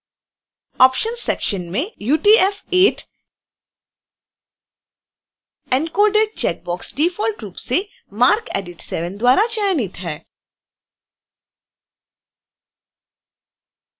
options section में